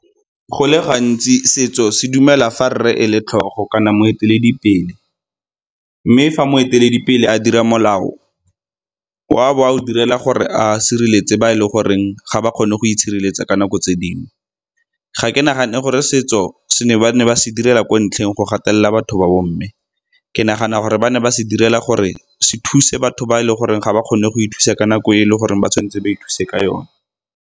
Go le gantsi setso se dumela fa rre e le tlhogo kana moeteledipele, mme fa moeteledipele a dira molao o a bo a o direla gore a sireletse ba e le goreng ga ba kgone go itshireletsa ka nako tse dingwe. Ga ke nagane gore setso ba ne ba se direla ko ntlheng go gatelela batho ba bomme, ke nagana gore ba ne ba se direla gore se thuse batho ba e leng gore ga ba kgone go ithusa ka nako e le goreng ba tshwanetse ba ithuse ka yone.